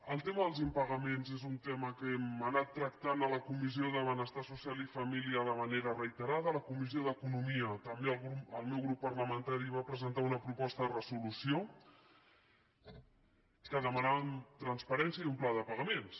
el tema dels impagaments és un tema que hem anat tractant a la comissió de benestar social i família de manera reiterada a la comissió d’economia també el meu grup parlamentari va presentar una proposta de resolució en què demanàvem transparència i un pla de pagaments